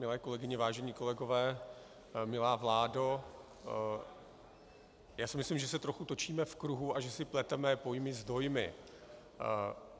Milé kolegyně, vážení kolegové, milá vládo, já si myslím, že se trochu točíme v kruhu a že si pleteme pojmy s dojmy.